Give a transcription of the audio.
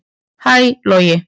Hæ Logi